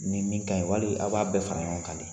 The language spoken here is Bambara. Ni min kaɲi wali a b'a bɛɛ fara ɲɔgɔn kan de ?